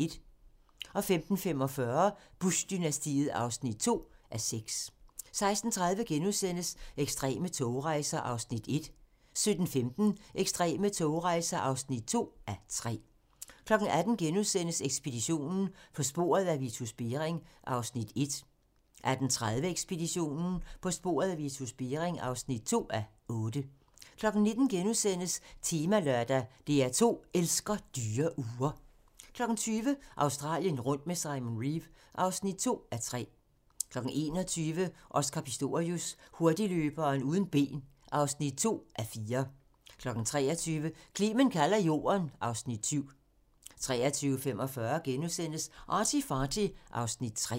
15:45: Bush-dynastiet (2:6) 16:30: Ekstreme togrejser (1:3)* 17:15: Ekstreme togrejser (2:3) 18:00: Ekspeditionen - På sporet af Vitus Bering (1:6)* 18:30: Ekspeditionen - På sporet af Vitus Bering (2:6) 19:00: Temalørdag: DR2 elsker dyre ure * 20:00: Australien rundt med Simon Reeve (2:3) 21:00: Oscar Pistorius: Hurtigløberen uden ben (2:4) 23:00: Clement kalder jorden (Afs. 7) 23:45: ArtyFarty (Afs. 3)*